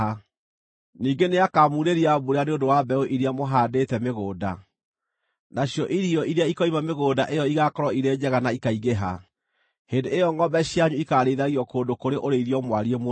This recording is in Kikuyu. Ningĩ nĩakamuurĩria mbura nĩ ũndũ wa mbeũ iria mũhaandĩte mĩgũnda, nacio irio iria ikoima mĩgũnda ĩyo igaakorwo irĩ njega na ikaingĩha. Hĩndĩ ĩyo ‎‎‎ngʼombe cianyu ikaarĩithagio kũndũ kũrĩ ũrĩithio mwariĩ mũno.